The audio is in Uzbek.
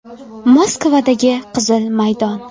Moskvadagi Qizil maydon.